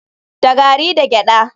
Da gari da gyada.